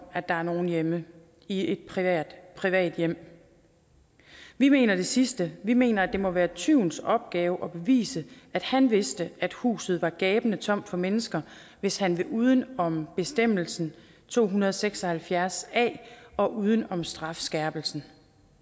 at der er nogle hjemme i et privat privat hjem vi mener det sidste vi mener at det må være tyvens opgave at bevise at han vidste at huset var gabende tomt for mennesker hvis han vil uden om bestemmelsen to hundrede og seks og halvfjerds a og uden om strafskærpelsen